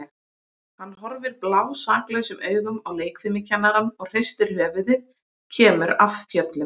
Hann horfir blásaklausum augum á leikfimikennarann og hristir höfuðið, kemur af fjöllum.